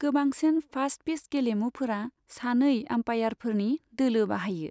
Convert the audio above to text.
गोबांसिन फास्टपिच गेलेमुफोरा सानै आम्पायारफोरनि दोलो बाहायो।